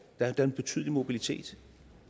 er en betydelig mobilitet